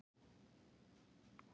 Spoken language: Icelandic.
Ívan